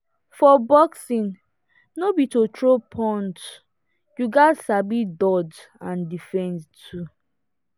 for boxing no be to throw punch you gats sabi dodge and defend too.